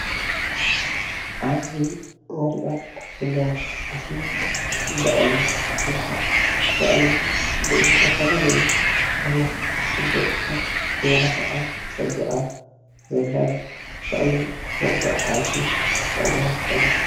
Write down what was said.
ኣብዚ እንርኣ ዘለና ምስሊ በቅሊ ትባሃል፡፡ በቅሊ ብዝተፈላለዩ ዓይነት መጋየፅታት ተመላኪዓን ፀቢቃን ዘላ እያ፡፡ በቅሊ መጓዓዓዚ ክትጠቅመና ትክእል እያ፡፡